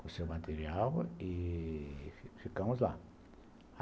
com seu material e ficamos lá.